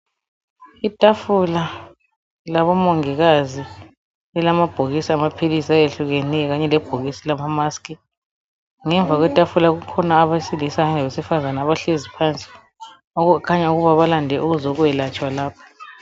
Itafula labomongikazi elamabhokisi amaphilisi ayehlukenyo kanye lebhokisi lama mask ngemva kwetafula kukhona abesilisa labesifazana abahlezi phansi okukhanya ukuba balande ukuzokwelatshwa lapha